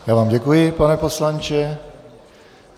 Já vám děkuji, pane poslanče.